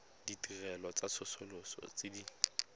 ditirelo tsa tsosoloso tse di